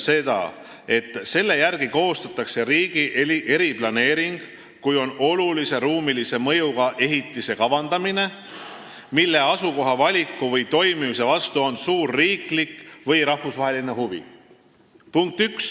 See ütleb, et riigi eriplaneering koostatakse olulise ruumilise mõjuga ehitise kavandamiseks, mille asukoha valiku või toimimise vastu on suur riiklik või rahvusvaheline huvi.